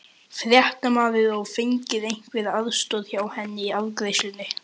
Fréttamaður: Og fengið einhverja aðstoð hjá henni í afgreiðslunni?